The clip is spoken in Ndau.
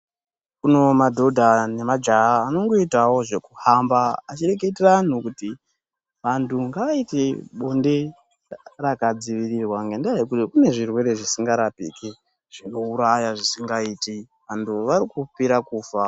Kunowo madhodha nemajaha anongoitawo zvekuhamba achireketera anhu kuti vantu ngavaite bonde rakadzivirirwa, ngendaa yekuti kune zvirwere zvisingarapiki, zvinouraya zvisingaiti. Vantu vave kupera kufa.